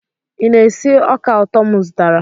ị na-esi ọka ụtọ m zụtara?